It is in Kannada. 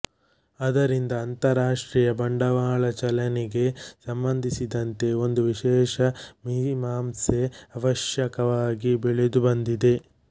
ಆದ್ದರಿಂದ ಅಂತಾರಾಷ್ಟ್ರೀಯ ಬಂಡವಾಳ ಚಲನೆಗೆ ಸಂಬಂಧಿಸಿದಂತೆ ಒಂದು ವಿಶೇಷ ಮೀಮಾಂಸೆ ಆವಶ್ಯಕವಾಗಿ ಬೆಳೆದುಬಂದಿದೆ